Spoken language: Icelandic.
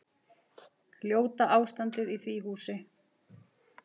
Ljóta ástandið í því húsi.